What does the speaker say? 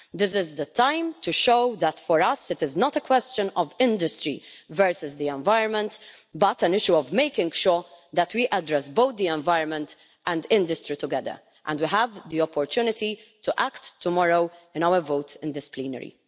This is the time to show that, for us, it is not a question of industry versus the environment, but an issue of making sure that we address both the environment and industry together. We have the opportunity to act tomorrow in our vote in this plenary.